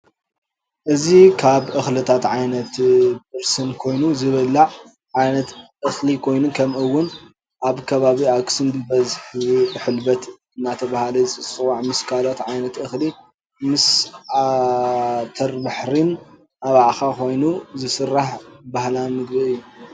እዚ ካብ እክሊታት ዓይነት ብርስን ኮይኑ ዝብላዐ ዓይነት እክሊ ኮይኑ ከም እውን ኣብ ከባቢ ኣክሱም ብበዝሕ ሕልበት እዳተበሃለ ዝፅዋዕ ምስ ካልኦት ዓይነት እክሊ ምስ ዓተበርሕ ዓባዒከ ኮይኑ ዝስራሕ በህላዊ ምግብ እዩ።